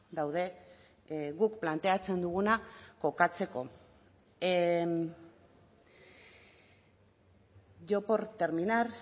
daude guk planteatzen duguna kokatzeko yo por terminar